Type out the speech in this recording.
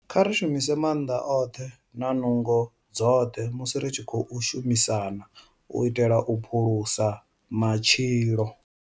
Kha ri shumise maanḓa oṱhe na nungo dzoṱhe musi ri tshi khou shumisana u itela u phulusa matshilo.